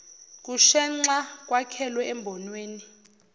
kushenxa kwakhelwe embonweni